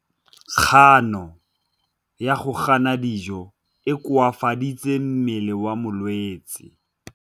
Kganô ya go ja dijo e koafaditse mmele wa molwetse.